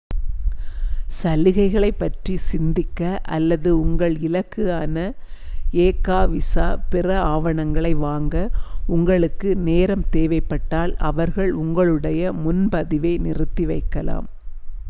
சலுகையைப் பற்றி சிந்திக்க அல்லது உங்கள் இலக்குக்கான எ.கா. விசா பிற ஆவணங்களை வாங்க உங்களுக்கு நேரம் தேவைப்பட்டால் அவர்கள் உங்களுடய முன்பதிவை நிறுத்தி வைக்கலாம்